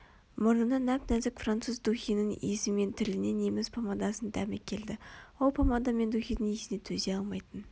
мұрнына нәп-нәзік француз духиінің иісі мен тіліне неміс помадасының дәмі келді ол помада мен духидің иісіне төзе алмайтын